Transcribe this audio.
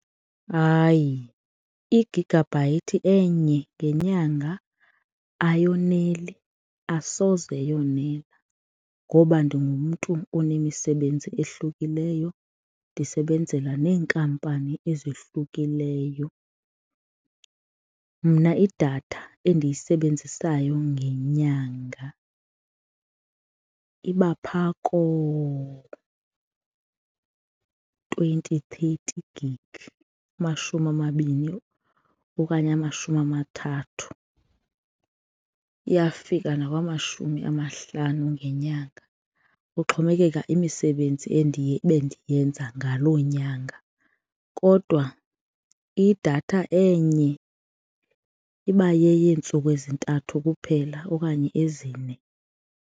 Hayi, igigabhayithi enye ngenyanga ayoneli, asoze yonela ngoba ndingumntu onemisebenzi ehlukileyo, ndisebenzela neenkampani ezohlukileyo. Mna idatha endiyisebenzisayo ngenyanga iba phaa koo-twenty, thirty gig amashumi amabini okanye amashumi amathathu, iyafika nakwamashumi amahlanu ngenyanga kuxhomekeka imisebenzi bendiyenza ngaloo nyanga kodwa idatha enye iba yeyeentsuku ezintathu kuphela okanye ezine.